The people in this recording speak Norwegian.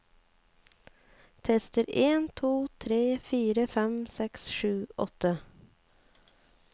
Tester en to tre fire fem seks sju åtte